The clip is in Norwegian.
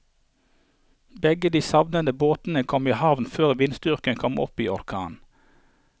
Begge de savnede båtene kom i havn før vindstyrken kom opp i orkan.